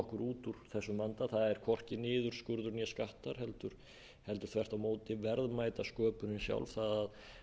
okkur út úr þessum vanda það er hvorki niðurskurður né skattar heldur þvert á móti verðmætasköpunin sjálf það að